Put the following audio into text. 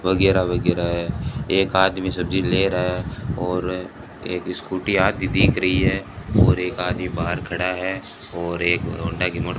वगैरह वगैरह है एक आदमी सब्जी ले रहा है और एक स्कूटी आती दिख रही है और एक आदमी बाहर खड़ा है और एक हीरो होंडा की --